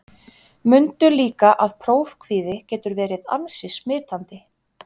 Mundu líka að prófkvíði getur verið ansi smitandi.